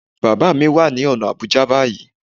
Bàbá mi wà ní ọ̀nà Àbújá báyìí